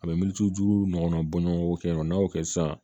A bɛ militiju ɲɔgɔnna bɔ ɲɔgɔn kɔ yen nɔ n'a y'o kɛ sisan